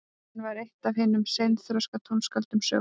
hann var eitt af hinum seinþroska tónskáldum sögunnar